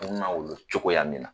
n ma wolo cogoya min na